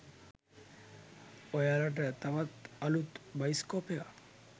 ඔයාලට තවත් අලුත් බයිස්කෝප් එකක්